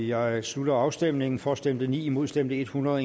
jeg slutter afstemningen for stemte ni imod stemte hundrede